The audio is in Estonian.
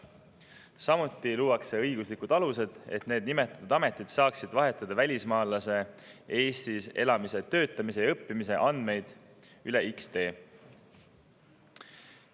Samuti luuakse õiguslikud alused, et nimetatud ametid saaksid vahetada välismaalase Eestis elamise, töötamise ja õppimise andmeid X‑tee kaudu.